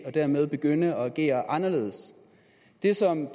og dermed begynde at agere anderledes det som